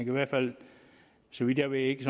i hvert fald så vidt jeg ved ikke